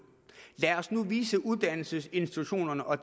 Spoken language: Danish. lad os nu vise uddannelsesinstitutionerne og